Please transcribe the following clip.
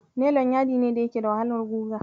Nelon yadi ne da yake da wahalar guga.